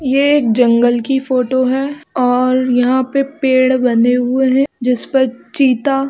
ये एक जंगल की फोटो की है और यहा पे पेड़ बने हुए है जिसपर चीता--